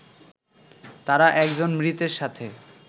তারা একজন মৃতের সাথে